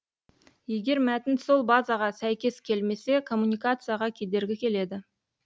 егер мәтін сол базаға сәйкес келмесе коммуникацияға кедергі келеді